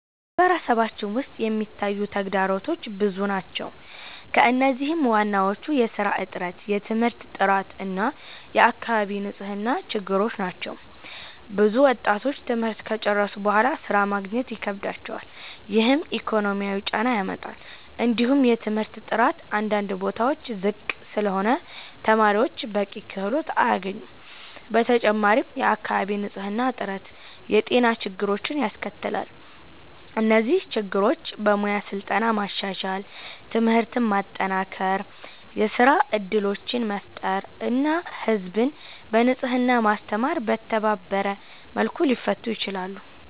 በማህበረሰባችን ውስጥ የሚታዩ ተግዳሮቶች ብዙ ናቸው፣ ከእነዚህም ዋናዎቹ የሥራ እጥረት፣ የትምህርት ጥራት እና የአካባቢ ንጽህና ችግሮች ናቸው። ብዙ ወጣቶች ትምህርት ከጨረሱ በኋላ ሥራ ማግኘት ይከብዳቸዋል፣ ይህም ኢኮኖሚያዊ ጫና ያመጣል። እንዲሁም የትምህርት ጥራት አንዳንድ ቦታዎች ዝቅ ስለሆነ ተማሪዎች በቂ ክህሎት አያገኙም። በተጨማሪም የአካባቢ ንጽህና እጥረት የጤና ችግሮችን ያስከትላል። እነዚህ ችግሮች በሙያ ስልጠና ማሻሻል፣ ትምህርትን ማጠናከር፣ የሥራ እድሎችን መፍጠር እና ህዝብን በንጽህና ማስተማር በተባበረ መልኩ ሊፈቱ ይችላሉ።